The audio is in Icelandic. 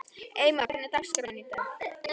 Eymar, hvernig er dagskráin í dag?